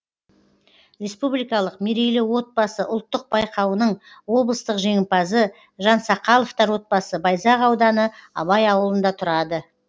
республикалық мерейлі отбасы ұлттық байқауының облыстық жеңімпазы жансақаловтар отбасы байзақ ауданы абай ауылында тұрады